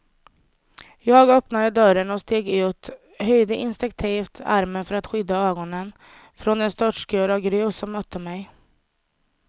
Jag öppnade dörren och steg ut, höjde instinktivt armen för att skydda ögonen från den störtskur av grus som mötte mig.